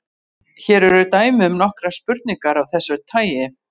Hér eru dæmi um nokkrar spurningar af þessu tagi: